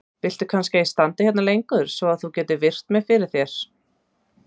Viltu kannski að ég standi hérna lengur svo að þú getir virt mig fyrir þér?